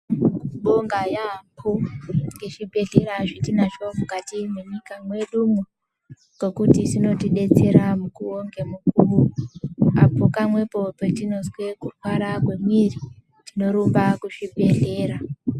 Tinobonga yaambo ngezvibhedhlera zvetinazvo mukati munyika mwedumwo, ngokuti zvinotidetsera mukuwo ngemukuwo, apo kamwepo petinozwe kurwara kwemwiiri. Tinorumba kuzvibhedhlera.